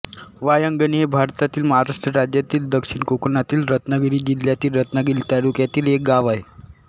वायंगणी हे भारतातील महाराष्ट्र राज्यातील दक्षिण कोकणातील रत्नागिरी जिल्ह्यातील रत्नागिरी तालुक्यातील एक गाव आहे